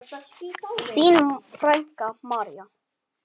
Þín frænka, María.